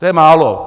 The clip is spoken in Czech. To je málo.